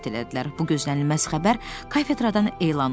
Bu gözlənilməz xəbər kafedradan elan olundu.